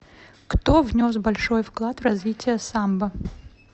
кто внес большой вклад в развитие самбо